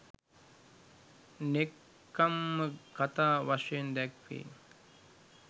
නෙක්ඛම්ම කථා වශයෙන් දැක්වෙයි.